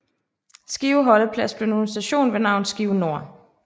Skive holdeplads blev nu en station ved navn Skive Nord